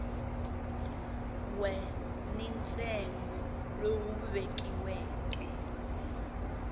we ni ntsengo lowu vekiweke